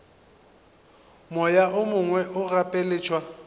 moya o mongwe o gapeletšwa